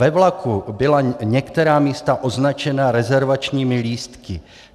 Ve vlaku byla některá místa označena rezervačními lístky.